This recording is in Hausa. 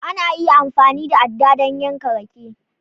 Ana iya amfani da aɗɗa don yanke rake